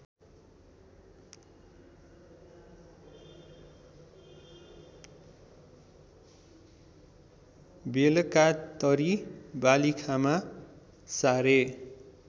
बेलकातरी वालिखामा सारे